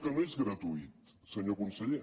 que no és gratuïta senyor conseller